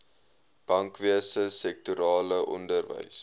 bankwese sektorale onderwys